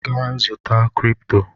Gaa zụta cripto!